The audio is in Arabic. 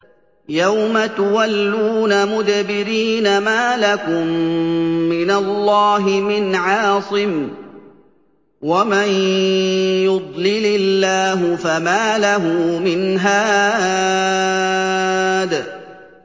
يَوْمَ تُوَلُّونَ مُدْبِرِينَ مَا لَكُم مِّنَ اللَّهِ مِنْ عَاصِمٍ ۗ وَمَن يُضْلِلِ اللَّهُ فَمَا لَهُ مِنْ هَادٍ